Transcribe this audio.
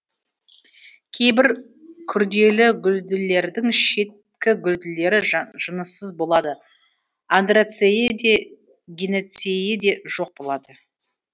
кейбір күрделігүлділердің шеткігүлдері жыныссыз болады андроцейі де гинейцейі де жоқ болады